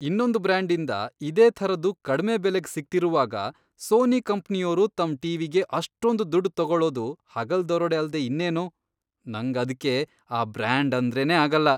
ಇನ್ನೊಂದ್ ಬ್ರಾಂಡಿಂದ ಇದೇ ಥರದ್ದು ಕಡ್ಮೆ ಬೆಲೆಗ್ ಸಿಗ್ತಿರುವಾಗ ಸೋನಿ ಕಂಪ್ನಿಯೋರು ತಮ್ ಟಿ.ವಿ.ಗೆ ಅಷ್ಟೊಂದ್ ದುಡ್ಡ್ ತಗೊಳೋದು ಹಗಲ್ ದರೋಡೆ ಅಲ್ದೇ ಇನ್ನೇನು, ನಂಗ್ ಅದ್ಕೆ ಆ ಬ್ರಾಂಡಂದ್ರೇನೇ ಆಗಲ್ಲ.